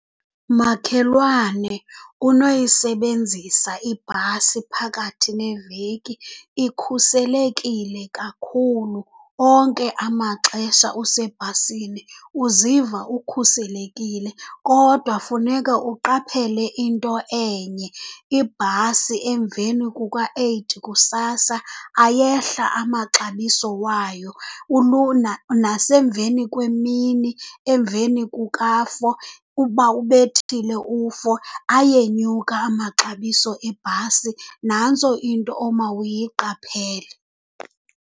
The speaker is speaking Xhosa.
Makhelwane, unoyisebenzisa ibhasi phakathi neveki, ikhuselekile kakhulu. Onke amaxesha usebhasini uziva ukhuselekile. Kodwa funeka uqaphele into enye, ibhasi emveni kuka-eight kusasa, ayehla amaxabiso wayo. Nasemveni kwemini, emveni kuka-four, uba ubethile u-four, ayenyuka amaxabiso ebhasi. Nantso into omawuyiqaphele.